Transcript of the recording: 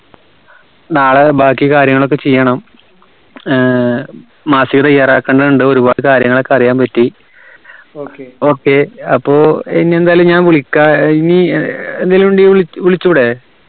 നാളെ ബാക്കി കാര്യങ്ങളൊക്കെ ചെയ്യണം ഏർ മാസിക തയ്യാറാക്കാൻ ഉണ്ട ഒരുപാട് കാര്യങ്ങളൊക്കെ അറിയാൻ പറ്റി okay അപ്പോ ഇനി എന്തായാലും വിളിക്ക ഏർ ഇനി ഏർ എന്തേലും ഇന്ടെങ്കി വിളി വിളിച്ചൂടെ